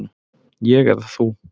Ég eða þú?